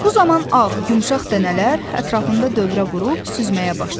Bu zaman ağ, yumşaq dənələr ətrafında dövrə vurub süzməyə başladı.